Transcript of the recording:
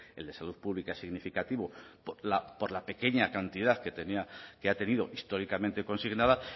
el de salud pública significativo por la pequeña cantidad que tenía que ha tenido históricamente consignada